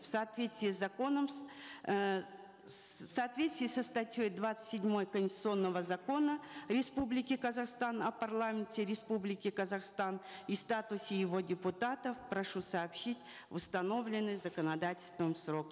в соответствии с законом с э ссс в соответствии со статьей двадцать седьмой конституционного закона республики казахстан о парламенте республики казахстан и статусе его депутатов прошу сообщить в установленный законодательством срок